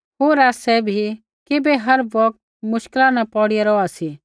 होर आसै भी किबै हर बौगत मुश्किला न पौड़िया रौहा सी